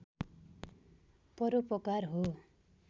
परोपकार हो